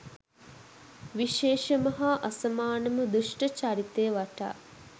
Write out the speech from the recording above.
විශේෂම හා අසමානම දුෂ්ට චරිතය වටා